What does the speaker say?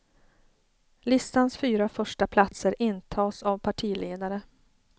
Listans fyra första platser intas av partiledare.